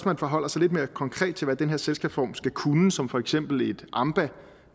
man forholder sig lidt mere konkret til hvad den her selskabsform skal kunne som for eksempel et amba